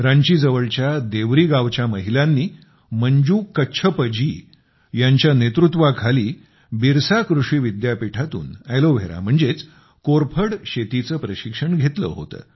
रांचीजवळच्या देवरी गावच्या महिलांनी मंजू कच्छपजी यांच्या नेतृत्वाखाली बिरसा कृषी विद्यापीठातून अॅलोव्हेरा म्हणजेच कोरफड शेतीचं प्रशिक्षण घेतलं होतं